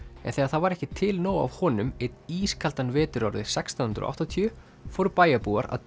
en þegar það var ekki til nóg af honum einn ískaldan vetur árið sextán hundruð og áttatíu fóru bæjarbúar að